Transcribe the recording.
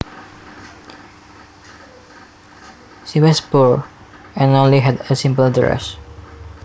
She was poor and only had a simple dress